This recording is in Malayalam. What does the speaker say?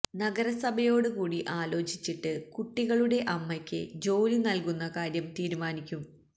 നഗരസഭയോട് കൂടി ആലോചിച്ചിട്ട് കുട്ടികളുടെ അമ്മയ്ക്ക് ജോലി നൽകുന്ന കാര്യം തീരുമാനിക്കും